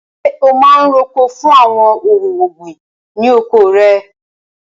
Ṣé o máa ń roko fún àwọn ohun ọ̀gbìn ní oko rẹ?